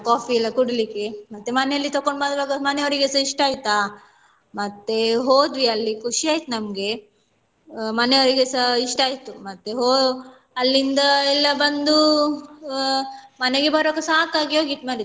Coffee ಎಲ್ಲ ಕುಡಿಲಿಕ್ಕೆ ಮತ್ತೆ ಮನೇಲಿ ತೊಕೊಂಡು ಬರುವಾಗ ಮನೆಯವ್ರಿಗೇಸ ಇಷ್ಟ ಆಯ್ತಾ ಮತ್ತೆ ಹೋದ್ವಿ ಅಲ್ಲಿ ಖುಷಿ ಆಯ್ತು ನಮ್ಗೆ ಮನೆಯವ್ರಿಗೇಸ ಇಷ್ಟ ಆಯ್ತು ಮತ್ತೆ ಹೋ~ ಅಲ್ಲಿಂದ ಎಲ್ಲ ಬಂದು ಮನೆಗೆ ಬರುವಾಗ ಸಾಕಾಗಿ ಹೋಗಿತ್ತು ಮಾರೈತಿ.